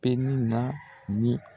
bɛ ne na ni.